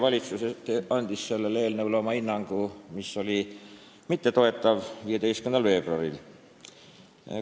Valitsus oli sellele eelnõule oma hinnangu, mis oli mittetoetav, andnud 15. veebruaril.